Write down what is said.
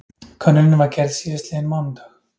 Könnunin var gerð síðastliðinn mánudag